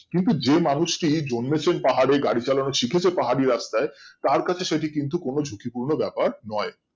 কিন্তু যেই মানুষটি জন্মেছেন পাহাড়ে গাড়ি চালানো শিখেছে পাহাড়ি রাস্তায় তারকাছে কিন্তু সেটি কোনো ঝুঁকিপূর্ণ ব্যাপার নয়